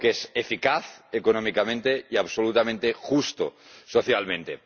Algo que es eficaz económicamente y absolutamente justo socialmente.